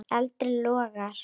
Eldur logar.